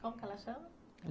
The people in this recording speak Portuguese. Como que ela chama?